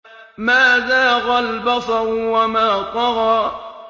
مَا زَاغَ الْبَصَرُ وَمَا طَغَىٰ